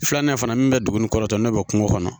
Filanan in fana min bɛ dugu ni kɔrɔtɔ n'o bɛ kungo kɔnɔ